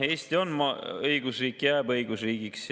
Eesti on õigusriik ja jääb õigusriigiks.